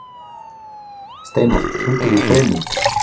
Steinar, hringdu í Freymund.